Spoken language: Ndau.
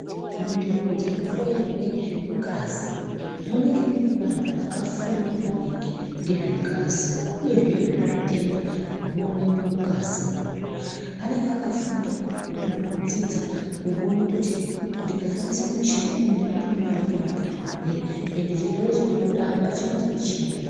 Munzvimbo dzinohloyerwe ngazi munenge mune vantu vakafunda maningi ngezvengazi, uyezve ngezvezvitenda zvinoonekwe mungazimwo. Anenge akafunda kudzidza kuone kuti ndikashandisa muchini uyu ndinotoona ndiponapo zvirwere, endi chirwere chirikubuda apa chinozwi chiini.